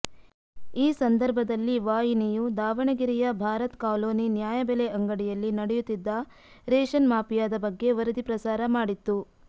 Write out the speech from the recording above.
ಈ ಸಂದರ್ಭದಲ್ಲಿ ವಾಹಿನಿಯು ದಾವಣಗೆರೆಯ ಭಾರತ್ ಕಾಲೋನಿ ನ್ಯಾಯಬೆಲೆ ಅಂಗಡಿಯಲ್ಲಿ ನಡೆಯುತ್ತಿದ್ದ ರೇಷನ್ ಮಾಫಿಯಾದ ಬಗ್ಗೆ ವರದಿ ಪ್ರಸಾರ ಮಾಡಿತ್ತು